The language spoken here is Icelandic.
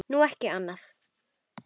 Nú, ekki annað.